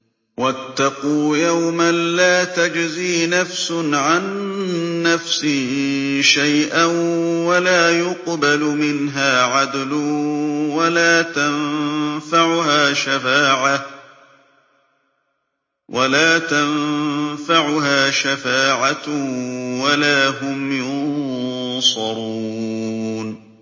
وَاتَّقُوا يَوْمًا لَّا تَجْزِي نَفْسٌ عَن نَّفْسٍ شَيْئًا وَلَا يُقْبَلُ مِنْهَا عَدْلٌ وَلَا تَنفَعُهَا شَفَاعَةٌ وَلَا هُمْ يُنصَرُونَ